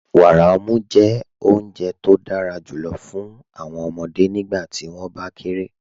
Wàárà ọ̀mù jẹ́ ọ̀Unje tó dára júlọ̀ fún awọn ọmọde nígbàtí wọn bá kéré.